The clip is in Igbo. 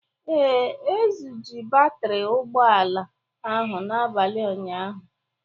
Ee, e zuje batri ụgbọala ahụ n'abalị ụnyaahụ